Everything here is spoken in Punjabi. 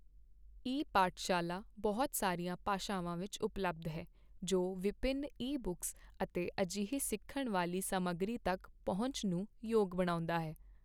ਈ ਪਾਠਸ਼ਾਲਾ ਬਹੁਤ ਸਾਰੀਆਂ ਭਾਸ਼ਾਵਾਂ ਵਿੱਚ ਉਪਲਬਧ ਹੈ, ਜੋ ਵਿਭਿੰਨ ਈ ਬੁੱਕਸ ਅਤੇ ਅਜਿਹੀ ਸਿੱਖਣ ਵਾਲੀ ਸਮੱਗਰੀ ਤੱਕ ਪਹੁੰਚ ਨੂੰ ਯੋਗ ਬਣਾਉਂਦਾ ਹੈ।